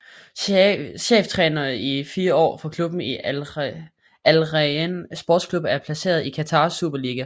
Cheftræner i 4 år for klubben Al Rayan Sports Club der er placeret i Qatars Superliga